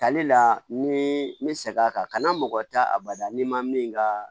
Tali la ni n bɛ seg'a kan mɔgɔ tɛ a bada n'i ma min ka